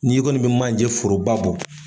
Ni i kɔni bi manje foroba bɔ.